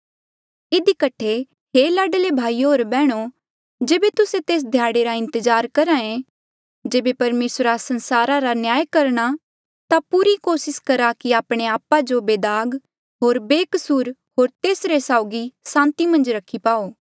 इधी कठे हे लाडले भाईयो होर बैहणो जेबे तुस्से तेस ध्याड़े रा इंतजार करहे जेबे परमेसरा संसारा रा न्याय करणा ता पूरी कोसिस करा कि आपणे आपा जो बेदाग होर बेकसूर होर तेसरे साउगी सांति मन्झ रखी पाओ